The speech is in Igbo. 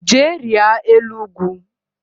Jee rịa elu ugwu